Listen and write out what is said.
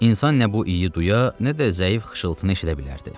İnsan nə bu iyi duya, nə də zəif xışıltını eşidə bilərdi.